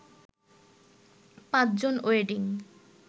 ৫ জন ওয়েডিং